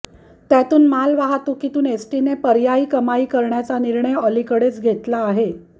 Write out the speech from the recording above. त्यातून मालवाहतूकीतून एसटीने पर्यायी कमाई करण्याचा निर्णय अलिकडेच घेतला आहे